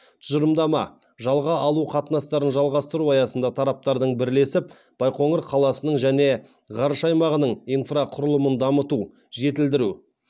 тұжырымдама жалға алу қатынастарын жалғастыру аясында тараптардың бірлесіп байқоңыр қаласының және ғарыш айлағының инфрақұрылымын дамыту жетілдіру